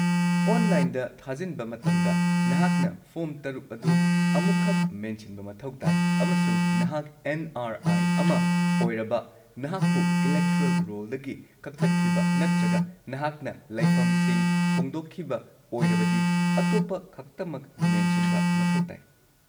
ꯑꯣꯟꯂꯥꯏꯟꯗ ꯊꯥꯖꯤꯟꯕ ꯃꯇꯝꯗ, ꯅꯍꯥꯛꯅ ꯐꯣꯔꯝ ꯶ ꯑꯗꯨ ꯑꯃꯨꯛꯈꯛ ꯃꯦꯟꯁꯤꯟꯕ ꯃꯊꯧ ꯇꯥꯏ ꯑꯃꯁꯨꯡ ꯅꯍꯥꯛ ꯑꯦꯟ.ꯑꯥꯔ.ꯑꯥꯏ. ꯑꯃ ꯑꯣꯏꯔꯕ, ꯅꯍꯥꯛꯄꯨ ꯏꯂꯦꯛꯇꯣꯔꯦꯜ ꯔꯣꯜꯗꯒꯤ ꯀꯛꯊꯠꯈꯤꯕ, ꯅꯠꯇ꯭ꯔꯒ ꯅꯍꯥꯛꯅ ꯂꯩꯐꯝꯁꯤꯡ ꯍꯣꯡꯗꯣꯛꯈꯤꯕ ꯑꯣꯏꯔꯕꯗꯤ, ꯑꯇꯣꯞꯄ ꯈꯛꯇꯃꯛ ꯃꯦꯟꯁꯤꯟꯕ ꯃꯊꯧ ꯇꯥꯏ꯫